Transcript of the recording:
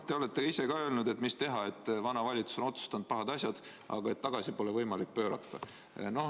Te olete ise ka öelnud, et mis teha, vana valitsus on otsustanud pahad asjad, aga tagasi pole neid võimalik pöörata.